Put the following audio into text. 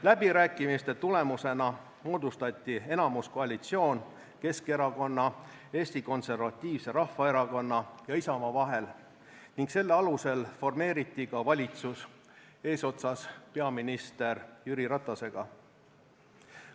Läbirääkimiste tulemusena moodustati enamuskoalitsioon Keskerakonna, Eesti Konservatiivse Rahvaerakonna ja Isamaa vahel ning selle alusel formeeriti ka valitsus eesotsas peaminister Jüri Ratasega.